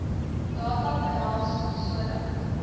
data behels sodat